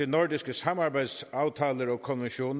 nordiske samarbejdsaftaler og konventioner